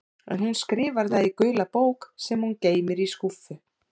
En hún skrifar það í gula bók sem hún geymir í skúffu.